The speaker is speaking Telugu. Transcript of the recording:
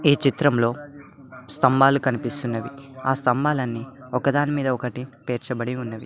ఈ చిత్రంలో స్తంభాలు కనిపిస్తున్నవి ఆ స్తంభాలన్ని ఒకదానిమీద ఒకటి పెర్చబడి ఉన్నవి.